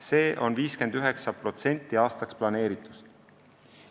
See on 59% aastaks planeeritust.